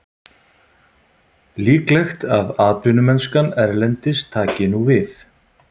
Líklegt að atvinnumennskan erlendis taki nú við.